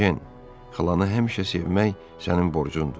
Ejen xalanı həmişə sevmək sənin borcundur.